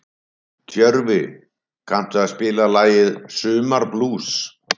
Tjörfi, kanntu að spila lagið „Sumarblús“?